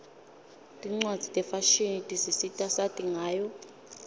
tincwadzi tefashini tisisita sati ngayo